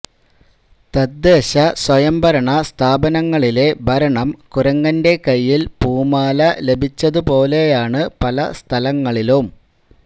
തദ്ദേശ സ്വയംഭരണ സ്ഥാപനങ്ങളിലെ ഭരണം കുരങ്ങന്റെ കയ്യില് പൂമാല ലഭിച്ചതുപോലെയാണ് പല സ്ഥലങ്ങളിലും